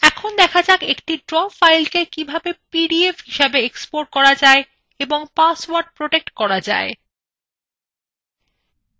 এখন দেখা যাক এই draw fileটিকে কিভাবে পিডিএফহিসেবে export করা যায় এবং পাসওয়ার্ড protect করা যায়